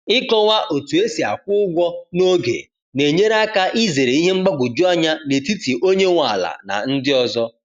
Ịkọwa otu esi akwụ ụgwọ n'oge na-enyere aka izere ihe mgbagwoju anya n’etiti onye nwe ala na ndị ọzọ